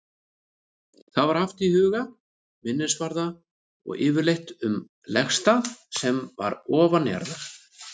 Það var haft um hauga, minnisvarða og yfirleitt um legstað sem var ofanjarðar.